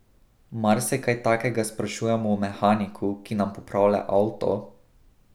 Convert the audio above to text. Mar se kaj takega sprašujemo o mehaniku, ki nam popravlja avto?